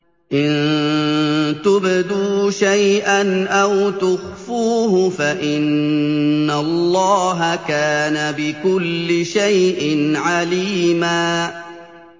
إِن تُبْدُوا شَيْئًا أَوْ تُخْفُوهُ فَإِنَّ اللَّهَ كَانَ بِكُلِّ شَيْءٍ عَلِيمًا